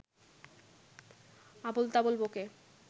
আবোলতাবোল ব’কে